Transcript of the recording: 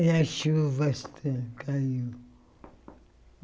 E a chuva ca caiu.